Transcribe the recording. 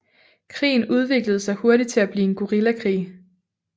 Krigen udviklede sig hurtigt til at blive en guerillakrig